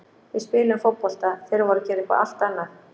Við spiluðum fótbolta, þeir voru að gera eitthvað allt annað.